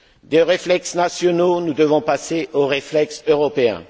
Des réflexes nationaux, nous devons passer aux réflexes européens.